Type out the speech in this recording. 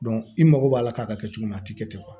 i mago b'a la k'a ka kɛ cogo min na a ti kɛ ten kuwa